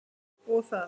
Og það.